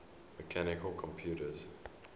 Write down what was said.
mechanical computers